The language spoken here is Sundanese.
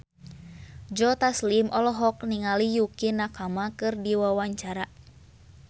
Joe Taslim olohok ningali Yukie Nakama keur diwawancara